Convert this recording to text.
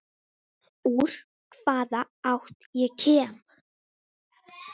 Úr hvaða átt ég kem.